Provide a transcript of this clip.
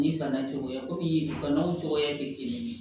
Ni bana cogoya ye komi banaw cogoya te kelen ye